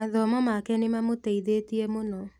Mathomo make nĩmamũteithĩtie mũno